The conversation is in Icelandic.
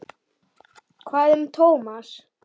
Hvað um Thomas?